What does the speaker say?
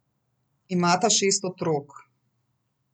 Imata šest otrok.